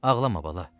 Ağlama, bala.